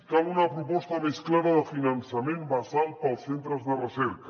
cal una proposta més clara de finançament basal per als centres de recerca